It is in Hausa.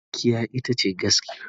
Gaskiya ita ce gaskiya.